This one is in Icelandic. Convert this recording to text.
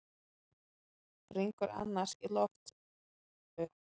Springur annars í loft upp.